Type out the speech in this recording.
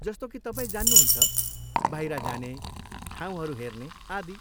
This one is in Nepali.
जस्तो कि तपाईँ जान्नुहुन्छ, बाहिर जाने, ठाउँहरू हेर्ने आदि।